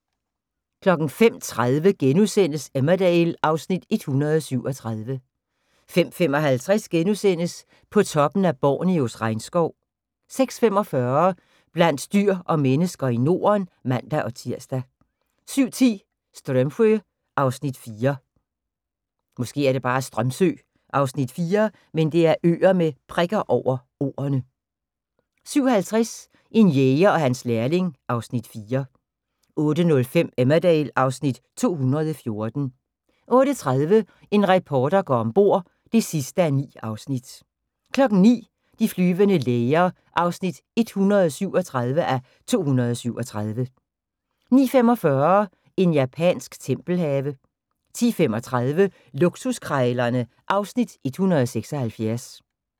05:30: Emmerdale (Afs. 137)* 05:55: På toppen af Borneos regnskov * 06:45: Blandt dyr og mennesker i Norden (man-tir) 07:10: Strömsö (Afs. 4) 07:50: En jæger og hans lærling (Afs. 4) 08:05: Emmerdale (Afs. 214) 08:30: En reporter går om bord (9:9) 09:00: De flyvende læger (137:237) 09:45: En japansk tempelhave 10:35: Luksuskrejlerne (Afs. 176)